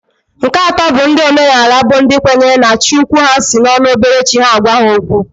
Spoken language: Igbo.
Nke atọ bụ ndị omenaala bụ ndị kwenyere na Chi ukwu ha si n'ọnụ obere chi ha agwa ha okwu.